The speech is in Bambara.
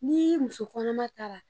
Nii musokɔnɔma taara